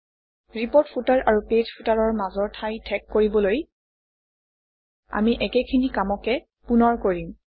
report footer আৰু page Footer অৰ মাজৰ ঠাই ঠেক কৰিবলৈ আমি একেইখিনি কামকে পুনৰ কৰিম